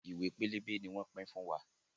Ìwé pélébé ni wọn pin fún wa.